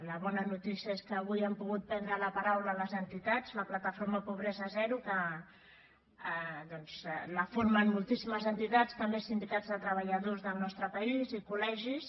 la bona notícia és que avui han pogut prendre la paraula les entitats la plataforma pobresa zero que doncs la formen moltíssimes entitats també sindicats de treballadors del nostre país i col·legis